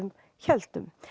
héldum